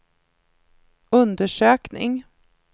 undersökning